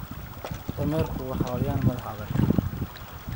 damerku waa xayawaan madax adag.